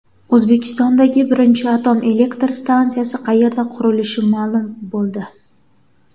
O‘zbekistondagi birinchi atom elektr stansiyasi qayerda qurilishi ma’lum bo‘ldi.